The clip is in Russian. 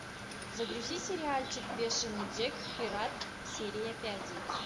загрузи сериальчик бешеный джек пират серия пять